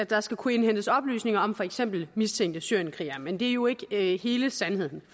der skal kunne indhentes oplysninger om for eksempel mistænkte syrienskrigere men det er jo ikke hele sandheden